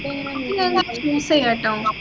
നിങ്ങളന്നെ choose ചെയ്യാ ട്ടോ